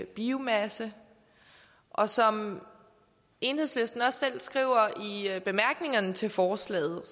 biomasse og som enhedslisten også selv skriver i bemærkningerne til forslaget